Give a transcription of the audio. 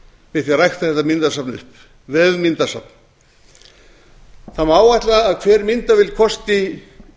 við það að rækta þetta myndasafn upp vefmyndasafn það má áætla að hver myndavél kosti